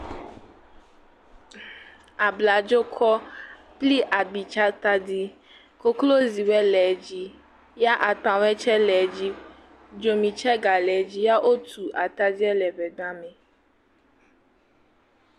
Ablɔdzokɔ kple agbitsatadi, koklozi ɖe le edzi ya akpawo tsɛ le edzi. Dzomi tsɛ gale edzi ya wotu atadia le ŋegba me.